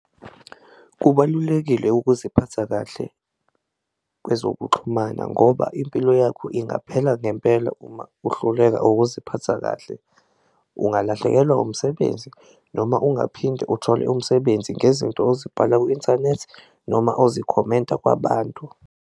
Kubalulekile ukuziphatha kahle kwezokuxhumana ngoba impilo yakho ingaphela ngempela uma uhluleka ukuziphatha kahle, ungalahlekelwa umsebenzi noma ungaphinde uthole umsebenzi ngezinto ozibhala ku-inthanethi noma ozikhomenta kwabantu.